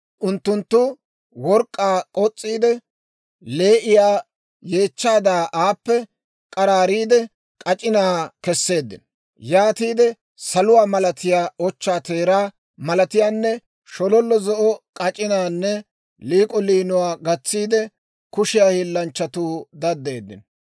Unttunttu work'k'aa k'os's'iide, lee'iyaa yeechchaadaa, aappe k'araari k'araariide, k'ac'inaa kesseeddino. Yaatiide saluwaa malatiyaa, ochchaa teeraa malatiyaanne shololla zo'o k'ac'inaanne liik'o liinuwaa gatsiide, kushiyaa hiillanchchatuu daddeeddino.